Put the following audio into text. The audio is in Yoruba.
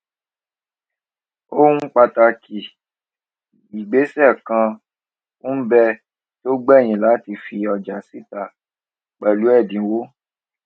ohun pàtàkì ìgbésè kan n bẹ tó gbèyìn láti fi ọjà síta pèlú èdínwó